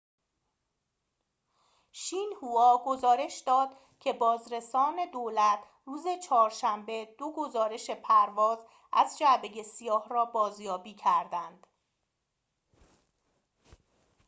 شین هوا گزارش داد که بازرسان دولت روز چهارشنبه دو گزارش پرواز از جعبه سیاه را بازیابی کردند